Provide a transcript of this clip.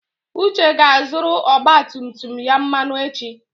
Uche ga-azụrụ ọgba tum tum ya mmanụ echi.